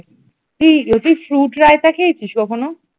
তুই তুই fruit রায়তা খেয়েছিস কখনো?